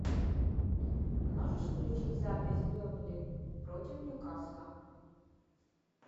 можешь включить запись бернли против ньюкасла